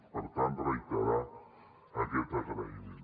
per tant reiterar aquest agraïment